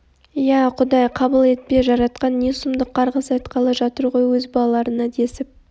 иә құдай қабыл етпе жаратқан не сұмдық қарғыс айтқалы жатыр ғой өз балаларына десіп